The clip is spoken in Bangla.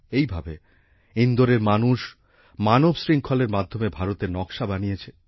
এইভাবে ইন্দোরের মানুষ মানবশৃঙ্খলের মাধ্যমে ভারতের নকশা বানিয়েছে